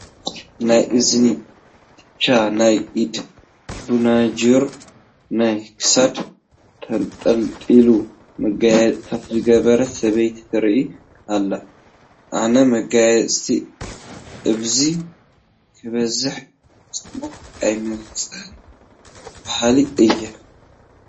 ናይ እዚኒ ኩትቻ፣ ናይ ኢድ በናጅር፣ ናይ ክሳድ ተንጠልጣሊ መጋየፅታት ዝገበረት ሰበይቲ ትርአ ኣላ፡፡ ኣነ መጋየፅታት እምብዛ ክበዝሕ ፅቡቕ ኣይመፅእን በሃሊ እየ፡፡